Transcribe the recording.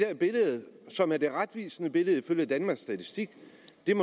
der billede som er det retvisende billede ifølge danmarks statistik